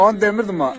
Onu demirdim mən.